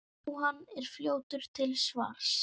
Jóhann er fljótur til svars.